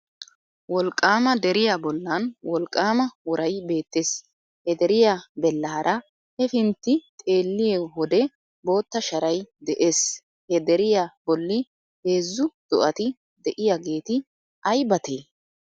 Wolqqaama deriya bollan Wolqqaama woray beettees ha deriya bellaara hefintti xeelliy wode bootta shaaray de'ees he deriya bolli heezzu do'ati de'iyageeti aybatee?